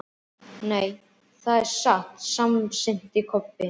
Nei, það er satt, samsinnti Kobbi.